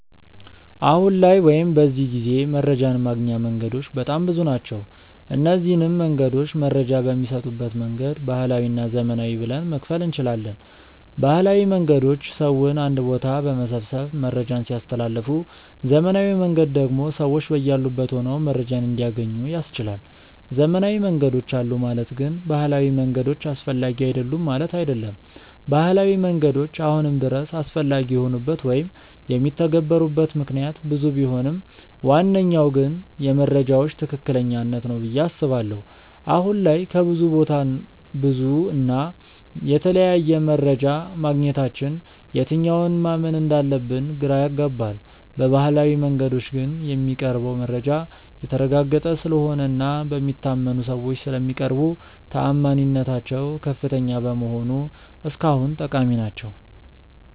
አሁን ላይ ወይም በዚህ ጊዜ መረጃን ማግኛ መንገዶች በጣም ብዙ ናቸው። እነዚንም መንገዶች መረጃ በሚሰጡበት መንገድ ባህላዊ እና ዘመናዊ ብለን መክፈል እንችላለን። ባህላዊ መንገዶች ሰውን አንድ ቦታ በመሰብሰብ መረጃን ሲያስተላልፉ ዘመናዊው መንገድ ደግሞ ሰዎች በያሉበት ሆነው መረጃን እንዲያገኙ ያስችላል። ዘመናዊ መንገዶች አሉ ማለት ግን ባህላዊ መንገዶች አስፈላጊ አይደሉም ማለት አይደለም። ባህላዊ መንገዶች አሁንም ድረስ አስፈላጊ የሆኑበት ወይም የሚተገበሩበት ምክንያት ብዙ ቢሆንም ዋነኛው ግን የመረጃዎች ትክክለኛነት ነው ብዬ አስባለሁ። አሁን ላይ ከብዙ ቦታ ብዙ እና የተለያየ መረጃ ማግኘታችን የትኛውን ማመን እንዳለብን ግራ ያጋባል። በባህላዊው መንገዶች ግን የሚቀርበው መረጃ የተረጋገጠ ስለሆነ እና በሚታመኑ ሰዎች ስለሚቀርቡ ተአማኒነታቸው ከፍተኛ በመሆኑ እስካሁን ጠቃሚ ናቸው።